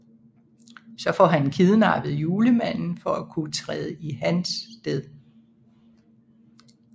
Så han får kidnappet Julemanden for at kunne træde i hans sted